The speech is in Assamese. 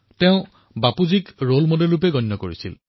তেওঁ বাপুক আদৰ্শ হিচাপে জ্ঞান কৰিছিল